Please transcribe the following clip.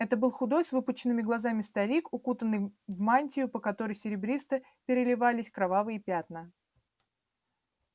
это был худой с выпученными глазами старик укутанный в мантию по которой серебристо переливались кровавые пятна